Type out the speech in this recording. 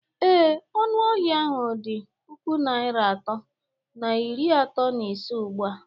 Ee, ọnụ ahịa ahụ dị puku naịra atọ na iri atọ na ise ugbu a